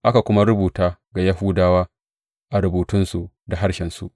Aka kuma rubuta ga Yahudawa a rubutunsu da harshensu.